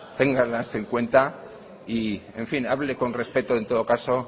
ténganlas en cuenta y en fin hable con respeto en todo caso